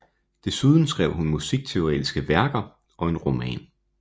Desuden skrev hun musikteoretiske værker og en roman